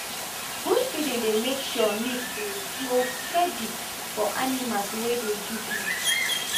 good feeding dey make sure milk go dey flow steady for animals wey dey give milk